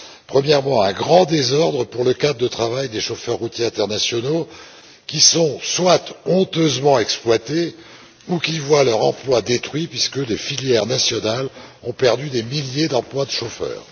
Premièrement, un grand désordre pour le cadre de travail des chauffeurs routiers internationaux, qui soit sont honteusement exploités, soit voient leur emploi détruit, puisque les filières nationales ont perdu des milliers d'emplois de chauffeurs.